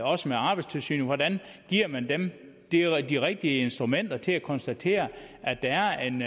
også med arbejdstilsynet hvordan giver man dem de rigtige rigtige instrumenter til at konstatere at der er en